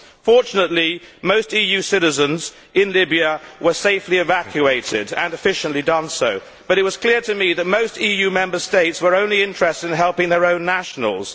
Fortunately, most EU citizens in Libya were safely evacuated and this was done efficiently but it was clear to me that most EU Member States were only interested in helping their own nationals.